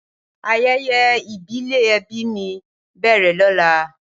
Ayẹyẹ ìbílẹ̀ ẹbí mi ń bẹ̀rẹ̀ lóla